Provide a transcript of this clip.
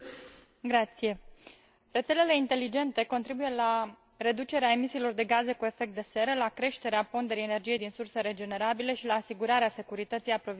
Rețelele inteligente contribuie la reducerea emisiilor de gaze cu efect de seră, la creșterea ponderii energiei din surse regenerabile și la asigurarea securității aprovizionării pentru gospodării.